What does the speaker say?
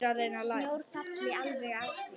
Sjór falli alveg að því.